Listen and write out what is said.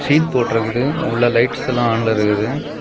Seat போட்டுருக்குது உள்ள lights எல்ல ஆன்ல இருக்குது.